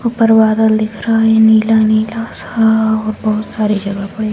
ऊपर बादल दिख रहा है नीला-नीला सा और बहुत सारी जगह पर ये --